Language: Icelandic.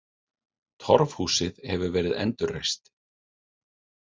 Torfhúsið hefur verið endurreist.